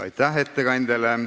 Aitäh ettekandjale!